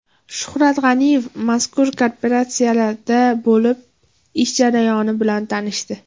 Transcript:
Shuhrat G‘aniyev mazkur kooperatsiyada bo‘lib, ish jarayoni bilan tanishdi.